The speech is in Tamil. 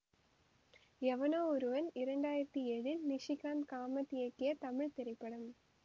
எவனோ ஒருவன் இரண்டு ஆயிரத்தி ஏழில் நிஷிகாந்த் காமத் இயக்கிய தமிழ் திரைப்படம்